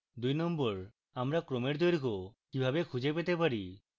2 আমরা ক্রমের দৈর্ঘ্য কিভাবে খুঁজে পেতে পারি